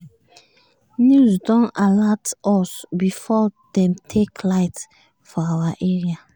news don alat us before dem take light for our area.